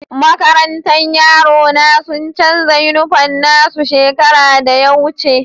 Makarantan yaro na sun chanza uniform na su shekaran da ya wuce.